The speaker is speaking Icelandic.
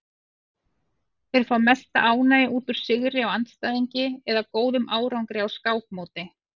Þeir fá mesta ánægju út úr sigri á andstæðingi eða góðum árangri á skákmóti.